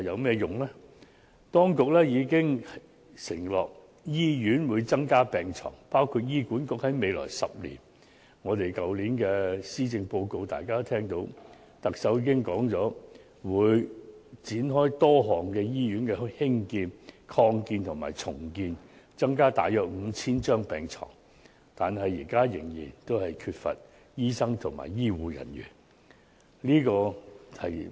雖然當局已承諾增加醫院病床，包括特首在去年施政報告所述，醫管局在未來10年會展開多個興建、擴建及重建醫院項目，增加大約 5,000 張病床，但現時香港仍然缺乏醫生和醫護人員。